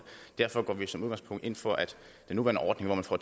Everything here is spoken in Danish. derfor går vi som udgangspunkt ind for at den nuværende ordning hvor man får